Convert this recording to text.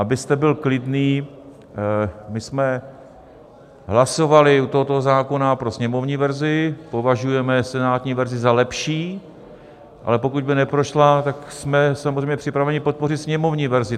Abyste byl klidný, my jsme hlasovali u tohoto zákona pro sněmovní verzi - považujeme senátní verzi za lepší, ale pokud by neprošla, tak jsme samozřejmě připraveni podpořit sněmovní verzi.